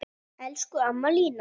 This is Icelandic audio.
Elsku amma Lína.